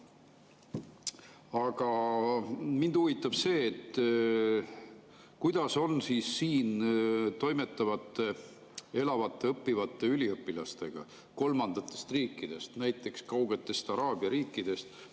Aga mind huvitab see, kuidas on siin toimetavate, elavate ja õppivate üliõpilaste kohta kolmandatest riikidest, näiteks kaugetest araabia riikidest.